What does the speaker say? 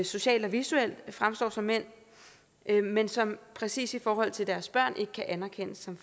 socialt og visuelt fremstår som mænd men som præcis i forhold til deres børn ikke kan anerkendes som